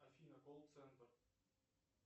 афина колл центр